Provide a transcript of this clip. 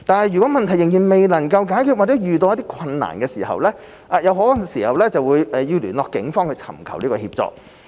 如問題仍未能解決或遇到困難，則可聯絡警方尋求協助。